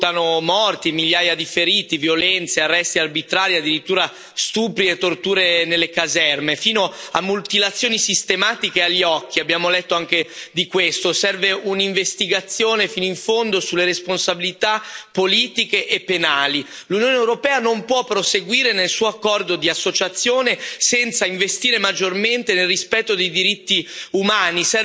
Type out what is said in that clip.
Si contano morti, migliaia di feriti, violenze, arresti arbitrari, addirittura stupri e torture nelle caserme, fino a mutilazioni sistematiche agli occhi, abbiamo letto anche di questo. Serve un'investigazione fino in fondo sulle responsabilità politiche e penali. L'Unione europea non può proseguire nel suo accordo di associazione senza investire maggiormente nel rispetto dei diritti umani.